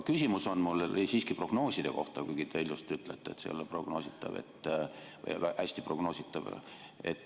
Küsimus on mul siiski prognooside kohta, kuigi te just ütlesite, et see ei ole prognoositav või ei ole hästi prognoositav.